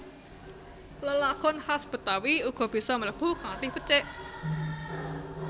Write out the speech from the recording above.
Lelagon khas Betawi uga bisa mlebu kanthi becik